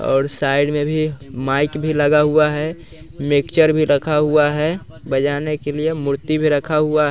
और साइड में भी माइक भी लगा हुआ है मिक्सर भी रखा हुआ है बजाने के लिए मूर्ति भी रखा हुआ--